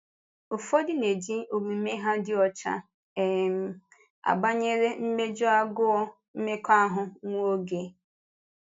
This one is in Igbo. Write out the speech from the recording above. Ụfọdụ na-eji omume ha dị ọcha um agbànyere imeju agụụ mmekọahụ nwa oge.